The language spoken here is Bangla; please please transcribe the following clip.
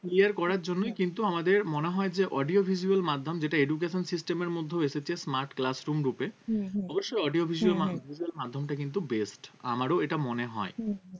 Clear করার জন্যই কিন্তু আমাদের মনে হয় যে audio visual মাধ্যম যেটা education system এর মধ্যেও এসেছে smart classroom রূপে হম হম অবশ্য audio visual মাধ্যমটা কিন্তু best আমারও এটা মনে হয়